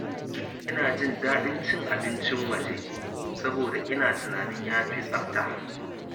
Ina jin daɗin cin abincin waje saboda ina tunanin ya fi tsafta.